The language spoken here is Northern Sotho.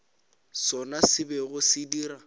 sona se bego se dira